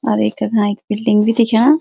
और ऐक नाईक बिल्डिंग बि दिक्ख्या।